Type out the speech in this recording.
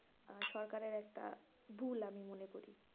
আহ সরকারের একটা ভুল আমি মনে করি,